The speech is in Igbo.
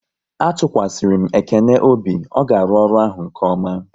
A tụkwasịrị m Ekene obi, ọ ga-arụ ọrụ ahụ nke ọma